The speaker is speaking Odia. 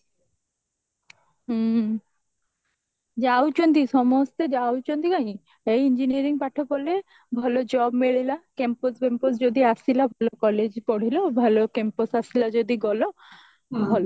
ହୁଁ ଯାଉଛନ୍ତି ସମସ୍ତେ ଯାଉଛନ୍ତି କାହିଁକି ସେଇ engineering ପାଠ ପଢିଲେ ଭଲ job ମିଳିଲା campus ଫ୍ୟାମ୍ପସ ଯଦି ଆସିଲା ଭଲ college ପଢିଲ ଭଲ campus ଆସିଲା ଯଦି ଗଲ